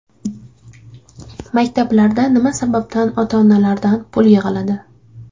Maktablarda nima sababdan ota-onalardan pul yig‘iladi?